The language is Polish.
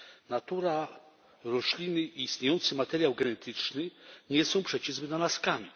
Natura, rośliny, istniejący materiał genetyczny nie są przecież wynalazkami.